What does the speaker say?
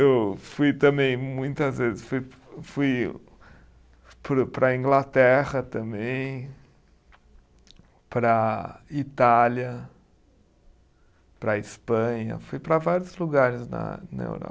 Eu fui também muitas vezes, fui fui para o, para a Inglaterra também, para a Itália, para a Espanha, fui para vários lugares na na Europa.